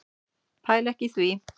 Pæli ekki í því.